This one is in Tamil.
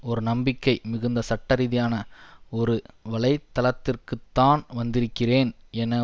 ஒரு நம்பிக்கை மிகுந்த சட்டரீதியான ஒரு வலைத்தளத்திற்குத்தான் வந்திருக்கிறேன் என